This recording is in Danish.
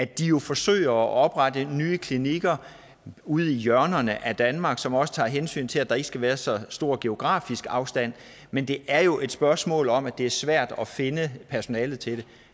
de forsøger at oprette nye klinikker ude i hjørnerne af danmark som også tager hensyn til at der ikke skal være så stor geografisk afstand men det er jo et spørgsmål om at det er svært at finde personale til